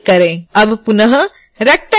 अब पुनः rectangle tool चुनें